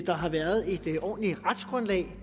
der har været et ordentligt retsgrundlag